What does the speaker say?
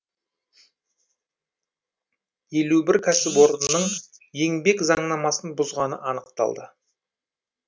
елу бір кәсіпорынның еңбек заңнамасын бұзғаны анықталды